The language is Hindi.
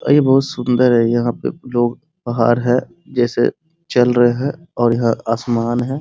और ये बहुत सुन्दर है यहाँ पे लोग पहाड़ है जैसे चल रहे हैं और यह आसमान है ।